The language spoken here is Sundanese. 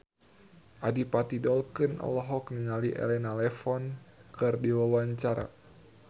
Adipati Dolken olohok ningali Elena Levon keur diwawancara